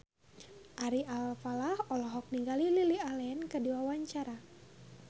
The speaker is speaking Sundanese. Ari Alfalah olohok ningali Lily Allen keur diwawancara